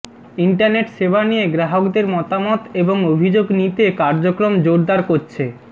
internet সেবা নিয়ে গ্রাহকদের মতামত এবং অভিযোগ নিতে কার্যক্রম জোরদার করেছে